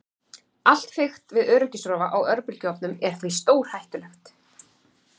Allt fikt við öryggisrofa á örbylgjuofnum er því stórhættulegt.